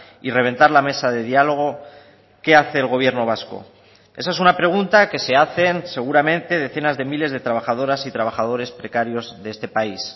y reventar la mesa de diálogo qué hace el gobierno vasco esa es una pregunta que se hacen seguramente decenas de miles de trabajadoras y trabajadores precarios de este país